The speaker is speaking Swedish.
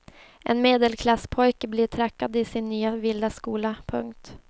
En medelklasspojke blir trackad i sin nya vilda skola. punkt